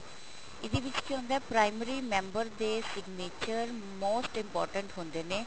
ਇਹਦੇ ਵਿੱਚ ਕੀ ਹੁੰਦਾ primary ਮੈਂਬਰ ਦੇ signature most important ਹੁੰਦੇ ਨੇ